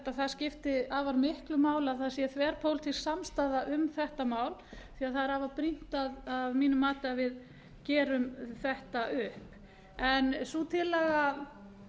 að það skipti afar miklu máli að það sé þverpólitísk samstaða um þetta mál því að það er afar brýnt að mínu mati að við gerum þetta upp sú tillaga